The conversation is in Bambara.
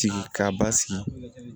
Sigi ka basigi